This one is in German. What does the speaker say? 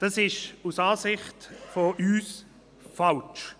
Das ist aus unserer Sicht falsch.